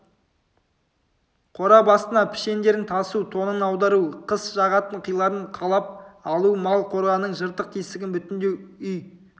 қора басына пішендерін тасу тоңын аудару қыс жағатын қиларын қалап алу мал қораның жыртық-тесігін бүтіндеу үй